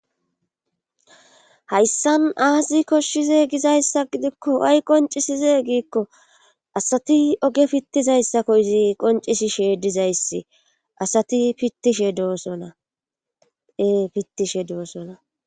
hayssan aazi koshshize gizayssa gidikko ay qoncisize giikko asati oge pittizayssakko izi qoncisishe dizayssi asati pittishe dsonaee pittishe doosona